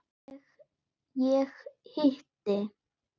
Ég hitti